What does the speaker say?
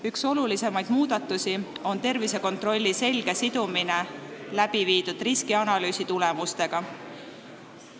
Üks olulisimaid muudatusi on tervisekontrolli selge sidumine läbiviidud riskianalüüsi tulemustega.